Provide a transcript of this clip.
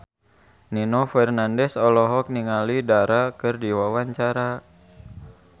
Nino Fernandez olohok ningali Dara keur diwawancara